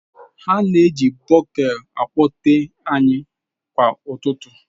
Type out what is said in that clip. Ha na-eji bugle kpọtee anyị kwa ụtụtụ.